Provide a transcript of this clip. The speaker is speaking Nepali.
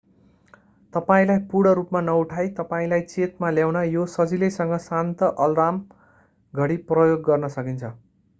तपाईंलाई पूर्ण रूपमा नउठाइ तपाईंलाई चेतमा ल्याउन यो सजिलैसँग शान्त अलार्म घडी प्रयोग गर्न सकिन्छ